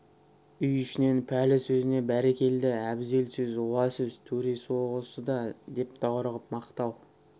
үй ішінен пәлі сөзіне бәрекелде әбзел сөз уа сөз төресі осы да деп даурығып мақтау